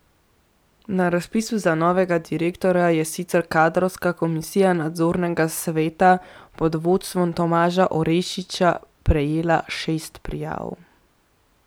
Na razpisu za novega direktorja je sicer kadrovska komisija nadzornega sveta pod vodstvom Tomaža Orešiča prejela šest prijav.